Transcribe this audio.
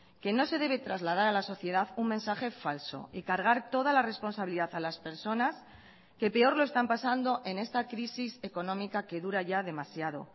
que no se debe trasladar a la sociedad un mensaje falso y cargar toda la responsabilidad a las personas que peor lo están pasando en esta crisis económica que dura ya demasiado